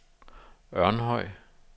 Ørnhøj